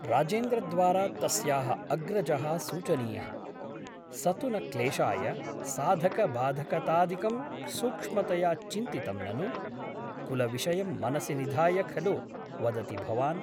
राजेन्द्रद्वारा तस्याः अग्रजः सूचनीयः । स तु न क्लेशाय साधकबाधकतादिकं सूक्ष्मतया चिन्तितं ननु ? कुलविषयं मनसि निधाय खलु वदति भवान् ?